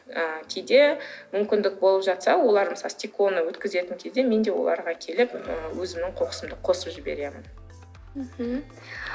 ы кейде мүмкіндік болып жатса олар мысалы стеклоны өткізетін кезде мен де оларға келіп ы өзімнің қоқысымды өткізіп жіберем